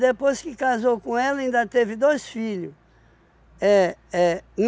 Depois que casou com ela, ainda teve dois filhos. É, é.